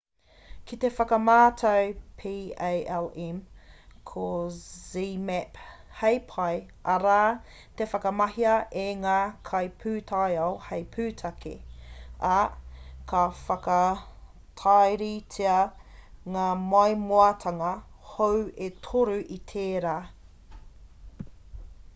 ki te whakamātau palm ko zmapp hei pae arā ka whakamahia e ngā kaipūtaiao hei pūtake ā ka whakatairitea ngā maimoatanga hou e toru i tērā